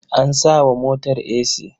An sa wa motar esi.